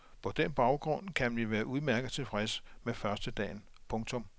På den baggrund kan vi være udmærket tilfreds med førstedagen. punktum